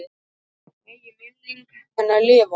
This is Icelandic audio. Megi minning hennar lifa.